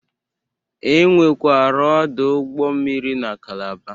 E nwekwara ọdụ ụgbọ mmiri na Kalaba.